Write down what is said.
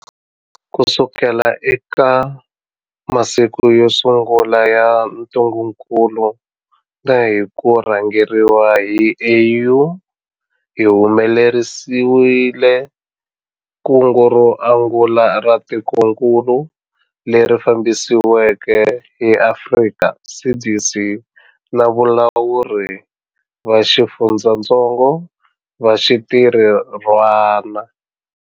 Kusuka eka masiku yo sungula ya ntungukulu na hi ku rhangeriwa hi AU, hi humelerisile kungu ro angula ra tikokulu, leri fambisiweke hi Afrika CDC na valawuri va xifundzatsongo va xintirhwana.